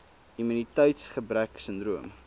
immuniteits gebrek sindroom